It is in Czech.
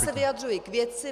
Já se vyjadřuji k věci.